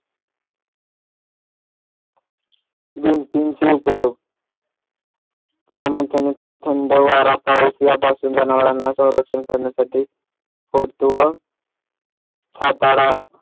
भिंतींचे उपयोग प्रामुख्याने थंड वारा पाऊस यांपासून जनावरांना संरक्षण करण्यासाठी अथवा हाताळा